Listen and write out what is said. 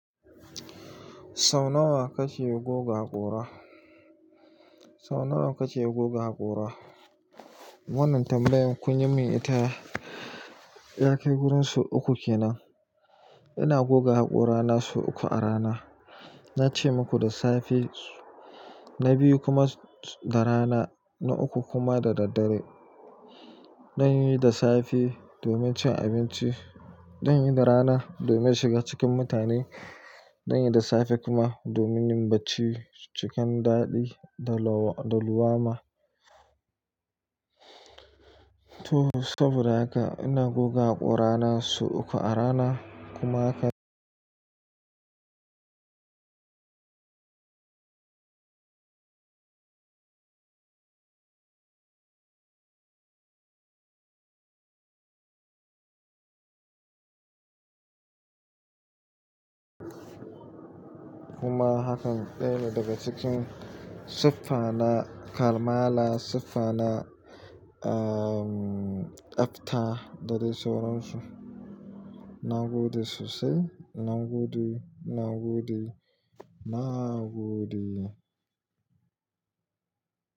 Sau nawa kake goga haƙora? Sau nawa kake goga haƙora? Wannan tambayar kunyi min ita. Yakai wurin sau uku kenan. Ina goga haƙorana sau uku a rana. Nace maku da safe, na biyu kuma da rana, na uku kuma da daddare. Zanyi da safe domin cin abinci, zanyi da rana domin shiga cikin mutane, zan yi da safe kuma domin yin bacci cikin daɗi da lumana. To saboda haka ina goga haƙorana sau uku a rana kuma haka kuma hakan ɗayane daga cikin siffa na karmala siffa na, um, tsafta da dai sauransu. Nagode sosai, nagode, nagode, nagode.